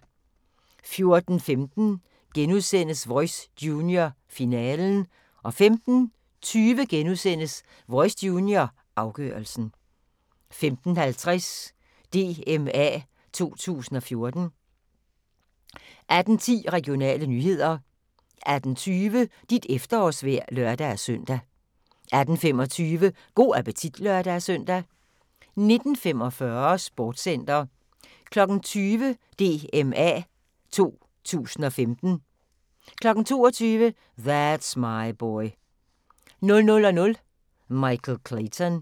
14:15: Voice Junior, finalen * 15:20: Voice Junior, afgørelsen * 15:50: DMA 2014 18:10: Regionale nyheder 18:20: Dit efterårsvejr (lør-søn) 18:25: Go' appetit (lør-søn) 19:45: Sportscenter 20:00: DMA 2015 22:00: That's My Boy 00:00: Michael Clayton